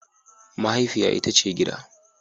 Mahaifiya ita ce gida.